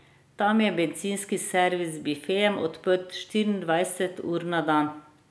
Tam je bencinski servis z bifejem odprt štiriindvajset ur na dan.